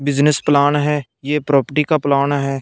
Business plan है ये property का प्लान है।